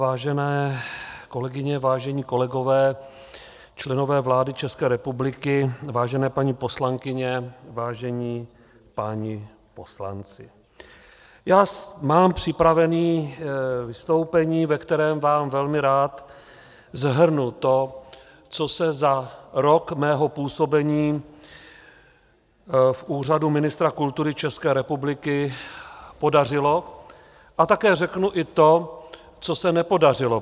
Vážené kolegyně, vážení kolegové, členové vlády České republiky, vážené paní poslankyně, vážení páni poslanci, já mám připraveno vystoupení, ve kterém vám velmi rád shrnu to, co se za rok mého působení v úřadu ministra kultury České republiky podařilo, a také řeknu i to, co se nepodařilo.